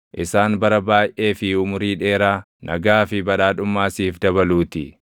isaan bara baayʼee fi umurii dheeraa, nagaa fi badhaadhummaa siif dabaluutii.